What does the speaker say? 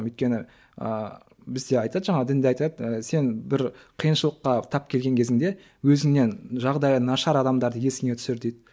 өйткені ыыы бізде айтады жаңағы дінде айтады ы сен бір қиыншылыққа тап келген кезіңде өзіңнен жағдайы нашар адамдарды есіңе түсір дейді